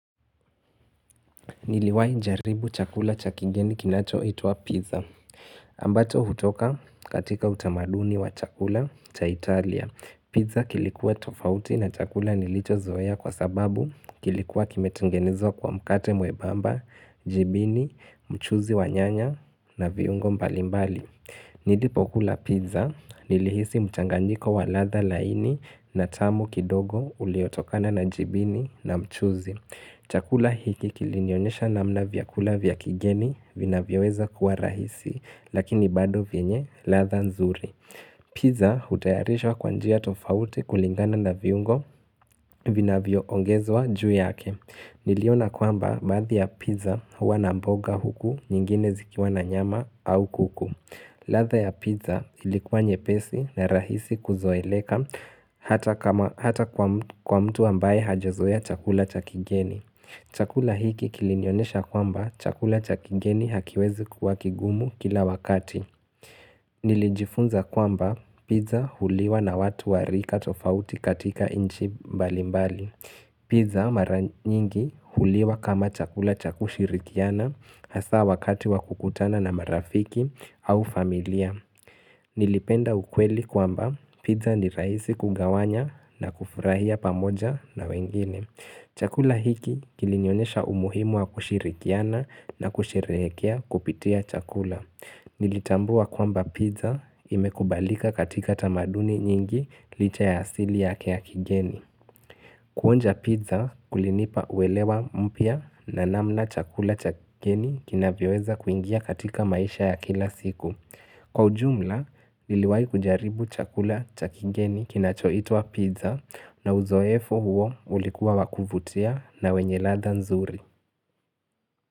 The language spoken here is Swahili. Niliwai jaribu chakula cha kigeni kinachoitwa pizza. Ambacho hutoka katika utamaduni wa chakula cha Italia. Pizza kilikuwa tofauti na chakula nilichozoea kwa sababu kilikuwa kimetengenezwa kwa mkate mwebamba, jibini, mchuzi wa nyanya na viungo mbalimbali. Nilipokula pizza nilihisi mchangandiko wa ladha laini na tamu kidogo uliotokana na jibini na mchuzi. Chakula hiki kilinionesha namna vyakula vya kigeni vinavyoweza kuwa rahisi lakini bado vyenye ladha nzuri. Pizza hutayarishwa kwa njia tofauti kulingana na viungo vinavyoongezwa juu yake. Niliona kwamba baadhi ya pizza huwa na mboga huku nyingine zikiwa na nyama au kuku. Ladha ya pizza ilikuwa nyepesi na rahisi kuzoeleka hata kwa mtu ambaye hajazoea chakula cha kigeni. Chakula hiki kilinionesha kwamba chakula cha kigeni hakiwezi kuwa kigumu kila wakati Nilijifunza kwamba pizza huliwa na watu wa rika tofauti katika nchi mbali mbali Pizza mara nyingi huliwa kama chakula cha kushirikiana hasa wakati wa kukutana na marafiki au familia Nilipenda ukweli kwamba pizza ni rahisi kugawanya na kufurahia pamoja na wengine Chakula hiki kilinyonesha umuhimu wa kushirikiana na kusherehekea kupitia chakula. Nilitambua kwamba pizza imekubalika katika tamaduni nyingi licha ya asili yake ya kigeni. Kuonja pizza kulinipa uwelewa mpya na namna chakula cha kigeni kinavyoweza kuingia katika maisha ya kila siku. Kwa ujumla, niliwai kujaribu chakula cha kingeni kinachoitwa pizza na uzoefu huo ulikuwa wa kuvutia na wenye ladha nzuri.